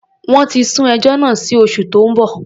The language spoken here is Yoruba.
Wọ́n ti sún ẹjọ́ náà sí oṣù tó ń bọ̀.